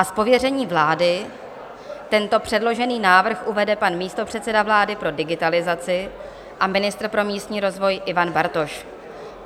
A z pověření vlády tento předložený návrh uvede pan místopředseda vlády pro digitalizaci a ministr pro místní rozvoj Ivan Bartoš.